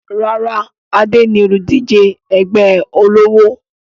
Rárá, Adé ni olùdíje ẹgbẹ́ ọlọ́wọ̀